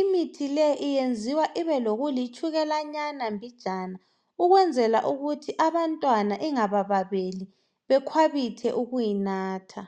imithi le iyenziwa ibe lokulitshukalanyana mbijana ukwenzela ukuthi abantwana engababeli bekwabithe ukuyinatha .